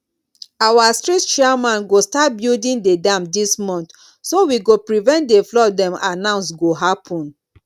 our street chairman go start building the dam dis month so we go prevent the flood dem announce go happen